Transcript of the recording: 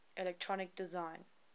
electronic design